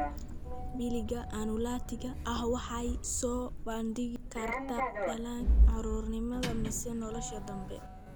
Piliga annulatiga ah waxay soo bandhigi kartaa dhallaanka, carruurnimada, mise nolosha dambe.